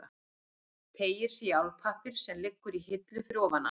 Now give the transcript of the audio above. Teygir sig í álpappír sem liggur í hillu fyrir ofan hann.